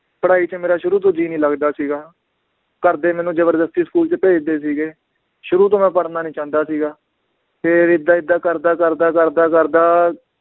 ਪੜ੍ਹਾਈ ਚ ਮੇਰਾ ਸ਼ੁਰੂ ਤੋਂ ਜੀ ਨੀ ਲੱਗਦਾ ਸੀਗਾ ਘਰਦੇ ਮੈਨੂੰ ਜ਼ਬਰਦਸਤੀ school ਚ ਭੇਜਦੇ ਸੀਗੇ, ਸ਼ੁਰੂ ਤੋਂ ਮੈ ਪੜ੍ਹਨਾ ਨੀ ਚਾਹੁੰਦਾ ਸੀਗਾ, ਫੇਰ ਏਦਾਂ ਏਦਾਂ ਕਰਦਾ ਕਰਦਾ ਕਰਦਾ ਕਰਦਾ